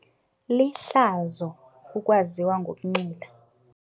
Lihlazo ukwaziwa ngokunxila.